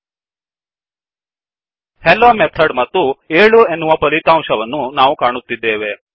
hello Methodಹೆಲ್ಲೊ method ಮತ್ತು 7 ಎನ್ನುವ ಫಲಿತಾಂಶವನ್ನು ಕಾಣುತ್ತಿದ್ದೇವೆ